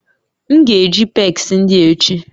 M ga-eji pegs ndị a echi